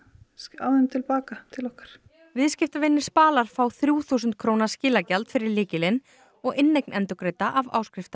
af þeim til baka til okkar viðskiptavinir Spalar fá þrjú þúsund króna skilagjald fyrir lykilinn og inneign endurgreidda af